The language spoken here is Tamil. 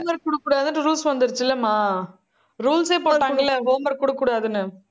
இவங்களுக்கு குடுக்கக்கூடாதுன்னு rules வந்துருச்சுல்லம்மா rules ஏ போட்டாங்கல்ல, homework குடுக்கக்கூடாதுன்னு.